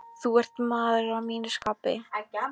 Þú ert maður að mínu skapi.